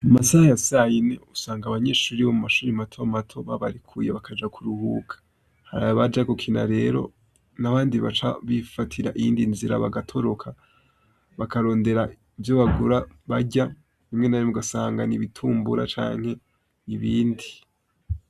Amasaha ya sayine usanga abanyeshuri bo mu mashuri mato mato babarekuye bakaja kuruhuka. Hari baja gukina rero n'abandi baca bifatira iyindi nzira bagatoroka, bakarondera ivyo bagura barya, rimwe na rimwe ugasanga ni ibitumbura canke ni ibindi.